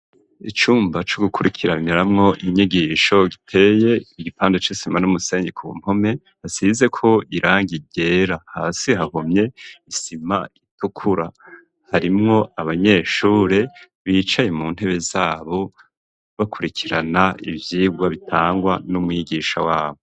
Icumba co gukurikiraniramwo inyigisho giteye igipande c'isima n'umusenyi. Ku mpome hasizeko irangi ryera. Hasi hahomye isima itukura. Harimwo abanyeshure bicaye mu ntebe zabo bakurikirana ivyirwa bitangwa n'umwigisha wabo.